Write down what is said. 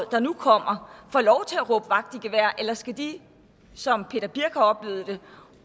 der nu kommer får lov til at råbe vagt i gevær eller skal de som peter birch sørensen har oplevet det